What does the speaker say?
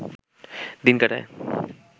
দিন কাটায়